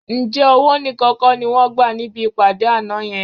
Ǹjẹ́ owó nìkan kọ́ ni wọ́n gbà níbi ìpàdé àná yẹn?